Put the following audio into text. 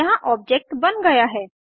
यहाँ ऑब्जेक्ट बन गया है